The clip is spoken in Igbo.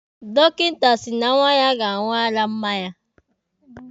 Dọkịta si na nwa ya ga-aṅụ ara mma ya.